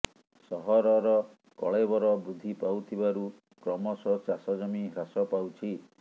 ସହରର କଳେବର ବୃଦ୍ଧି ପାଉଥିବାରୁ କ୍ରମଶ ଚାଷଜମି ହ୍ରାସ ପାଉଛି